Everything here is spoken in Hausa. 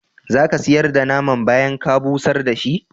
Za ka sayar da naman bayan ka busar da shi?